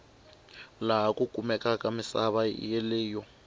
laha ku kumekaku misava yeleyo